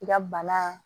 I ka bana